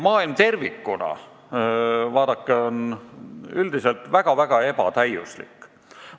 Maailm tervikuna, vaadake, on üldiselt väga-väga ebatäiuslik.